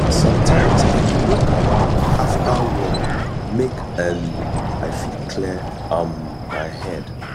sometimes i dey walk around after work make um i fit clear um my head